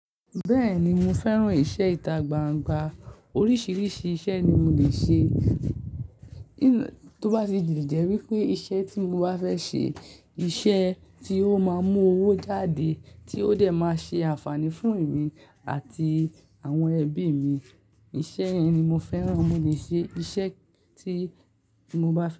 Bẹ́ẹ̀ni mo fẹ́ràn ìṣe ìtagbangba oríṣìíríṣìí iṣẹ́ ni mo lè ṣe, tó bá ti di jẹ́ wípé iṣẹ́ tí mo bá fẹ́ ṣe iṣẹ́ tí ó máa ń mú owó jáde tí ó dẹ̀ máa ṣe àǹfààní fún èmi àti àwọn ẹbí mi, iṣẹ́ yẹn ni mo fẹ́ràn. Mo lè ṣe iṣẹ́ tí mo bá fẹ́